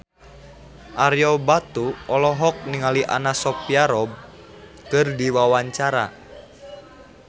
Ario Batu olohok ningali Anna Sophia Robb keur diwawancara